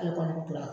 Ale kɔni tora